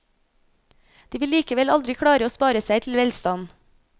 De vil likevel aldri klare å spare seg til velstand.